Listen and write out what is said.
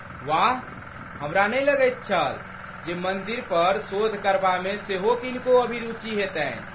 वाह, हमरा नहि लगैत छल जे मन्दिरपर शोध करबामे सेहो किनको अभिरूचि हेतनि।